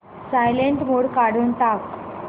silent mode काढून टाक